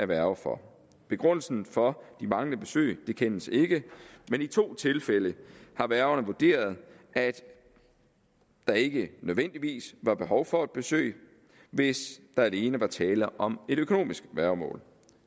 værger for begrundelsen for de manglende besøg kendes ikke men i to tilfælde har værgerne vurderet at der ikke nødvendigvis var behov for et besøg hvis der alene var tale om et økonomisk værgemål